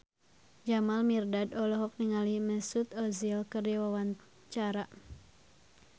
Jamal Mirdad olohok ningali Mesut Ozil keur diwawancara